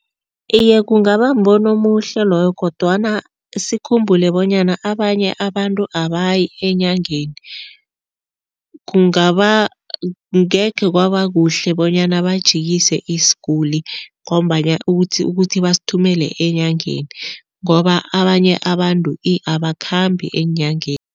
Iye, kungaba mbono omuhle loyo kodwana sikhumbule bonyana abanye abantu abayi enyangeni. Kungaba, angekhe kwaba kuhle bonyana bajikise isiguli ngombana ukuthi ukuthi basithumele enyangeni ngoba abanye abantu abakhambi eenyangeni.